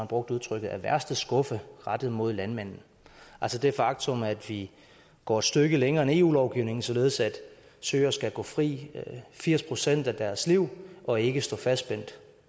brugte udtrykket af værste skuffe rettet mod landmændene altså det faktum at vi går et stykke længere end eu lovgivningen således at søer skal gå frit i firs procent af deres liv og ikke stå fastspændt